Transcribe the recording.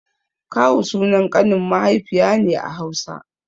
Kawu sunan ƙanin mahaifiya ne a Hausa.